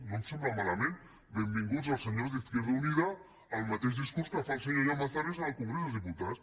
no em sembla malament benvinguts els senyors d’izquierda unida al mateix discurs que fa el senyor llamazares al congrés dels diputats